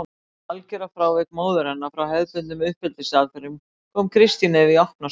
Þetta algjöra frávik móður hennar frá hefðbundnum uppeldisaðferðum kom Kristínu Evu í opna skjöldu.